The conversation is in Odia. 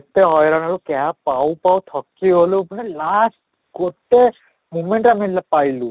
ଏତେ ହଇରାଣ ହେଲୁ cab ପାଉ ପାଉ ଥକିଗଲୁ ପୁରା last ଗୋଟେ moment ରେ ଆମେ ପାଇଲୁ